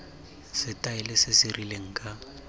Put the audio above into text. setaele se se rileng ka